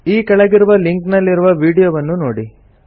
ಈ ಕೆಳಗಿರುವ ಲಿಂಕ್ ನಲ್ಲಿರುವ ವೀಡಿಯೊವನ್ನು ನೋಡಿ